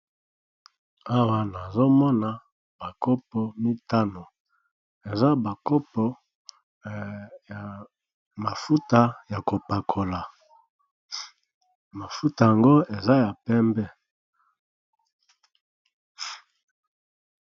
Awa nazo mona ba kopo mitano, eza ba kopo ya mafuta ya kopakola mafuta yango eza ya pembe.